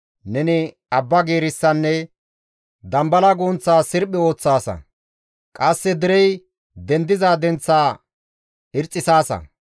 Neni abba giirissanne dambala gunththa sirphi ooththaasa; qasse derey dendiza denththa irxxisaasa.